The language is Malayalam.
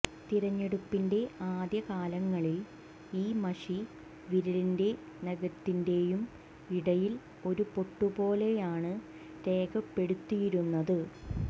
തിരഞ്ഞെടുപ്പിന്റെ ആദ്യകാലങ്ങളിൽ ഈ മഷി വിരലിന്റെ നഖത്തിന്റെയും ഇടയിൽ ഒരു പൊട്ടുപോലെയാണ് രേഖപ്പെടുത്തിയിരുന്നത്